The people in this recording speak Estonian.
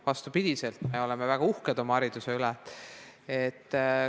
Vastupidiselt, me oleme väga uhked oma hariduse üle.